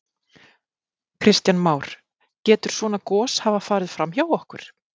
Kristján Már: Getur svona gos hafa farið fram hjá okkur?